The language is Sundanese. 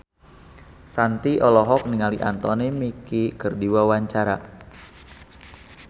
Shanti olohok ningali Anthony Mackie keur diwawancara